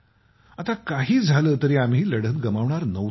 आता काही झालं तरीही आम्ही लढत गमावणार नव्हतो